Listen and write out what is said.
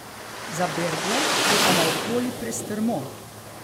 Za bergle je pa naokoli prestrmo.